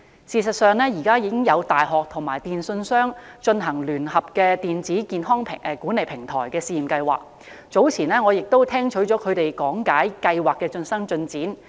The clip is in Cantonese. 事實上，現時已有大學和電訊商正聯合推行電子健康管理平台的試驗計劃，早前我亦曾聽取他們講解計劃的最新進展。